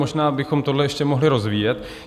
Možná bychom tohle ještě mohli rozvíjet.